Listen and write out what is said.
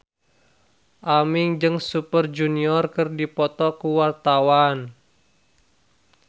Aming jeung Super Junior keur dipoto ku wartawan